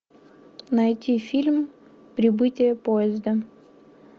найти фильм прибытие поезда